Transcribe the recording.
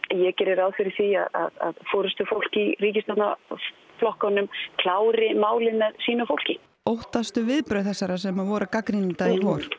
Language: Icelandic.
ég geri ráð fyrir að forystufólk í ríkisstjórnarflokkunum klári málið með sínu fólki viðbrögð þessara sem voru að gagnrýna þetta í vor